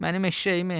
Mənim eşşəyimi!